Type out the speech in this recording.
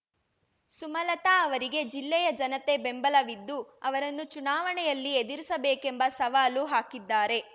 ಸುಮಲತಾ ಅವರಿಗೆ ಜಿಲ್ಲೆಯ ಜನತೆ ಬೆಂಬಲವಿದ್ದು ಅವರನ್ನು ಚುನಾವಣೆಯಲ್ಲಿ ಎದುರಿಸಬೇಕೆಂದು ಸವಾಲು ಹಾಕಿದ್ದಾರೆ